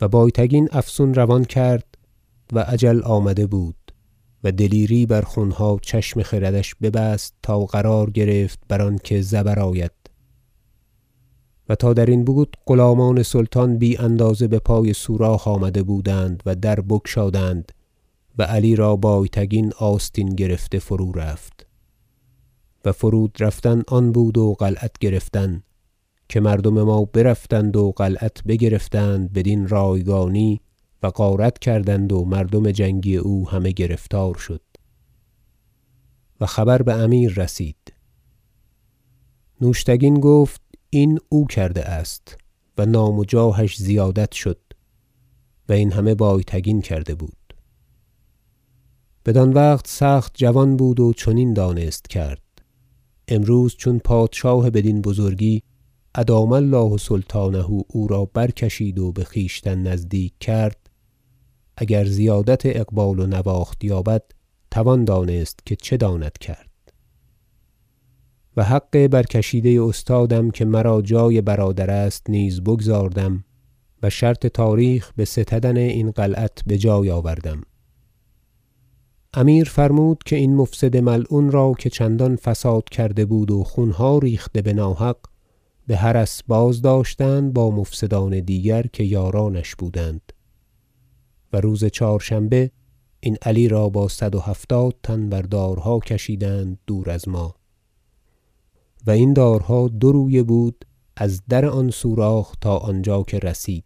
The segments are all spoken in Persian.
و بایتگین افسون روان کرد و اجل آمده بود و دلیری بر خونها چشم خردش ببست تا قرار گرفت بر آنکه زیر آید و تا درین بود غلامان سلطان بی اندازه بپای سوراخ آمده بودند و در بگشادند و علی را بایتگین آستین گرفته فرو رفت و فرود رفتن آن بود و قلعت گرفتن که مردم ما برفتند و قلعت بگرفتند بدین رایگانی و غارت کردند و مردم جنگی او همه گرفتار شد و خبر بامیر رسید نوشتگین گفت این او کرده است و نام و جاهش زیادت شد و این همه بایتگین کرده بود بدان وقت سخت جوان بود و چنین دانست کرد امروز چون پادشاه بدین بزرگی ادام الله سلطانه او را برکشید و بخویشتن نزدیک کرد اگر زیادت اقبال و نواخت یابد توان دانست که چه داند کرد و حق برکشیده استادم که مرا جای برادر است نیز بگزاردم و شرط تاریخ بستدن این قلعت بجای آوردم امیر فرمود که این مفسد ملعون را که چندان فساد کرده بود و خونها ریخته بناحق بحرس بازداشتند با مفسدان دیگر که یارانش بودند و روز چهارشنبه این علی را با صد و هفتاد تن بر دارها کشیدند دور از ما و این دارها دو- رویه بود از در آن سوراخ تا آنجا که رسید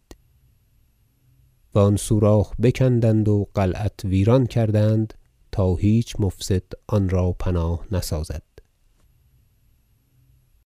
و آن سوراخ بکندند و قلعت ویران کردند تا هیچ مفسد آن را پناه نسازد